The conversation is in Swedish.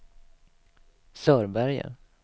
Sörberge